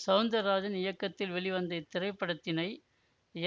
சௌந்தர் ராஜன் இயக்கத்தில் வெளிவந்த இத்திரைப்படத்தினை